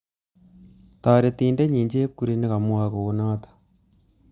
Taretindet nyi chepkurui nekamwae kounoto